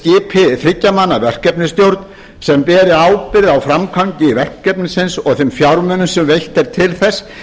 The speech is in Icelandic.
skipi þriggja manna verkefnisstjórn sem beri ábyrgð á framkvæmd verkefnisins og ber fjármunum sem veitt er til þess